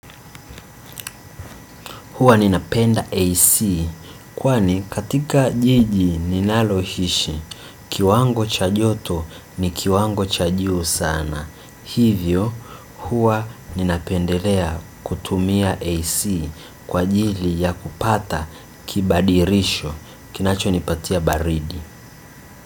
Huwa ninapenda AC kwani katika jiji ninaloishi kiwango cha joto ni kiwango cha juu sana. Hivyo huwa ninapendelea kutumia AC kwajili ya kupata kibadirisho kinacho nipatia baridi.